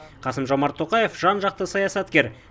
қасым жомарт тоқаев жан жақты саясаткер